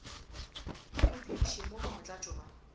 a mo dudišemo bomotlatšo ba